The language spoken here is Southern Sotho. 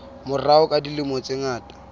morao ka dilemo tse ngata